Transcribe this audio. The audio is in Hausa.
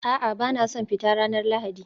A'a, ba na son fita ranar Lahadi